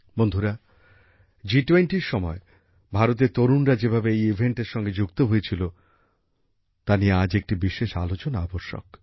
বন্ধুরা জি20এর সময় ভারতের তরুণরা যেভাবে এই আয়োজনের সঙ্গে যুক্ত হয়েছিল তা নিয়ে আজ একটি বিশেষ আলোচনা আব্যশ্যক